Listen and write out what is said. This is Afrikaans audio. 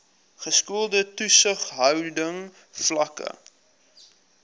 geskoolde toesighouding vlakke